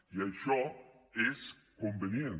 i això és convenient